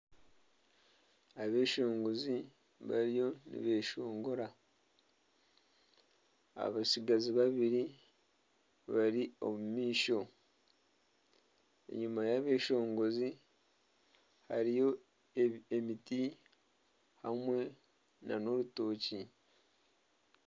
Abeshongozi bariyo nibeshongora. Abatsigazi babiri bari omu maisho. Enyima y'abeshongozi hariyo emiti hamwe n'orutookye.